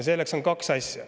Neid on kaks.